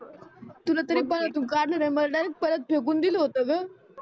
तुला तरी पाण्यातून काडल नाही मला डायरेक्ट पाण्यात फेकून दिल होत ग